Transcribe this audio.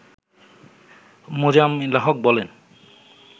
মোজাম্মেল হক বলেন